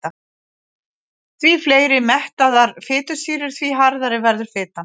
Því fleiri mettaðar fitusýrur því harðari verður fitan.